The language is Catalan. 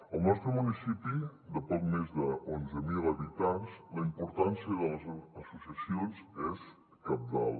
al nostre municipi de poc més d’onze mil habitants la importància de les associacions és cabdal